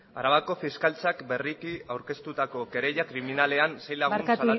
hitza egun on arabako fiskaltzak berriki aurkeztutako kereila kriminalean sei lagun salatu